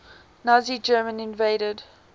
nazi germany invaded